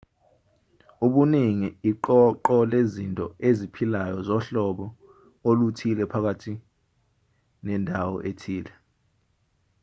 ubuningi iqoqo lezinto eziphilayo zohlobo oluthile phakathi nendawo ethile